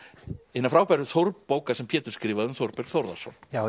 hinnar frábæru bókar sem Pétur skrifaði um Þórberg Þórðarson